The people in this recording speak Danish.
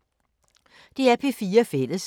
DR P4 Fælles